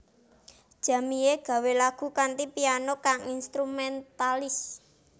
Jamie gawé lagu kanthi piano kang instrumentalis